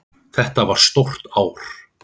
Þetta var stórt ár.